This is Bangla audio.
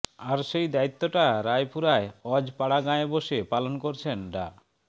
আর সেই দায়িত্বটা রায়পুরার অজপাড়াগাঁয়ে বসে পালন করছেন ডা